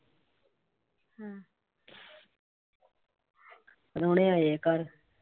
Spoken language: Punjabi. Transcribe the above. ਪ੍ਰਾਹੁਣੇ ਆਏ ਘਰ।